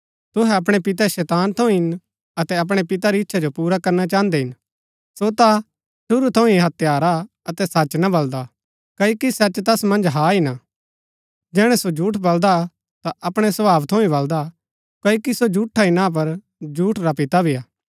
तूहै अपणै पितै शैतान थऊँ हिन अतै अपणै पितै री इच्छा जो पुरा करना चाहन्दै हिन सो ता शुरू थऊँ ही हत्यारा हा अतै सच ना बलदा क्ओकि सच तैस मन्ज हा हि ना जैहणै सो झूठ बलदा ता अपणै स्वभाव थऊँ ही बलदा क्ओकि सो झूठा हि ना पर झूठ रा भी पिता हा